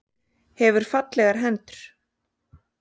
Hefur fallegar hendur.